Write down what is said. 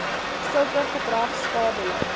sulke gedrag skadelik